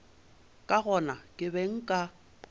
ka gona ke be nka